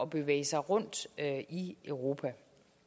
bevæge sig rundt i europa